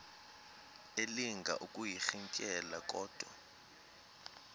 elinga ukuyirintyela kodwa